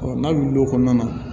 n'a wulil'o kɔnɔna na